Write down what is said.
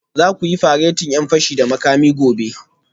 Za ku yi faretin 'yan fashi da makami gobe